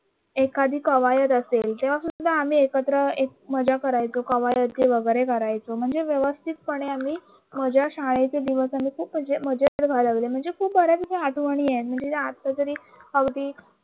एखादी कवायेत असेल तेव्हा सुद्धा आम्ही एकत्र मजा करायचं कवा येते वगैरे करायचं जे व्यवस्थितपणे आम्ही मी शाळेच्या दिवसांमध्ये मजेत घालवले म्हणजे खूप बऱ्यापैकी आठवण आहेत म्हणजे जे आता तरी अगदी